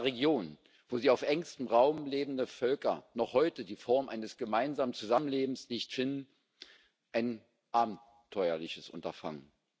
In einer Region, wo die auf engstem Raum lebenden Völker noch heute die Form eines gemeinsamen Zusammenlebens nicht finden, ein abenteuerliches Unterfangen.